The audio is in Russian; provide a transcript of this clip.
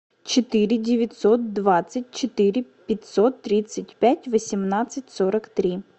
четыре девятьсот двадцать четыре пятьсот тридцать пять восемнадцать сорок три